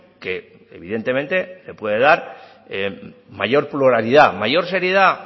que evidentemente se puede dar mayor pluralidad mayor seriedad